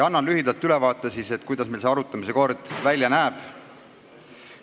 Annan lühidalt ülevaate, kuidas see arutamise kord välja näeb.